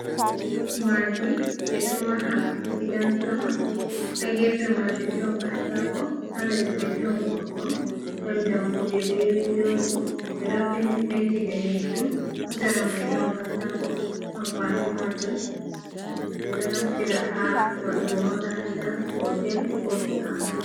Maadi: Ɓedo maha gidan-sama. Ha gefe majum ɗon katako, ha les mai ɗon goɗɗo, ɗon dammuɗe be windoji, bedo penti-penti danejum. Ha sera mai don katako amfani majum ɓeɗo naftira ha waɗugo makaranta, hotel, ko sare.